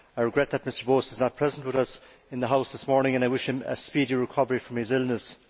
I regret that Mr Bowis is not present with us in the House this morning, and I wish him a speedy recovery from his illness.